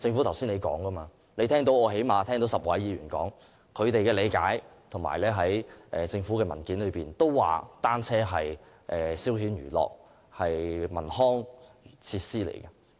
剛才政府當局已聽到最少10位議員表達他們的理解，而政府文件亦指出單車是消遣娛樂的文康設施。